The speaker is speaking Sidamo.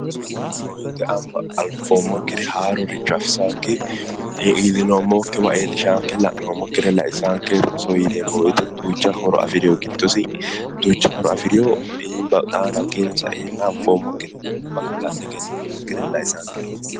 Rosoho yineemmo woyiite alba anfoommokkire haarore afisaanke, iillinoommokkiwa iillishaanke, la'noommokkire laisaanke rosoho yineemmo woyiite duucha horo afirewo giddosi xaano hakkiino saeenna bashsho la'ne egenninoommokkire laisaanke rosu